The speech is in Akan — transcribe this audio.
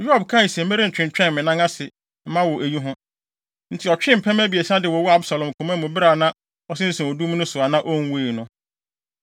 Yoab kae se, “Merentwentwɛn me nan ase mma wo wɔ eyi ho.” Enti, ɔtwee mpɛmɛ abiɛsa de wowɔɔ Absalom koma mu bere a na ɔsensɛn odum no so a na onwui no.